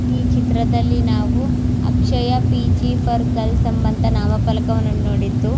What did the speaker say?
ಈ ಚಿತ್ರದಲ್ಲಿ ನಾವು ಅಕ್ಷಯ ಪಿ.ಜಿ ಫಾರ್ ಗರ್ಲ್ಸ್ ಎಂಬಂತ ನಾಮ ಫಲಕವನ್ನು ನೋಡಿದ್ದು --